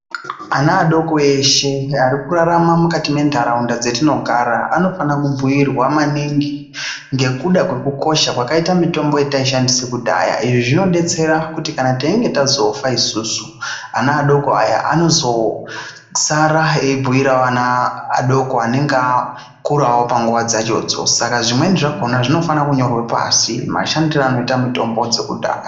Ana adoko eshe arikurarama mukati mentaraunda dzatinogara anofanira kubhuyirwa maningi ngekuda kwekukosha kwakaita mitombo yetaishandisa kudhaya izvi zvinodetsera kuti teinge tazofa isusu ana adoko aya anozosara eibhuirawo ana adoko anenge akurawo panguva dzachodzo. Saka zvimweni zvachona zvinofanira kunyorwa pashi mashandire anoita mitombo dzekudhara.